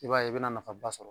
I b'a ye i bɛna nafa ba sɔrɔ